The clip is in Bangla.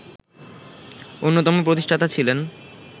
অন্যতম প্রতিষ্ঠাতা ছিলেন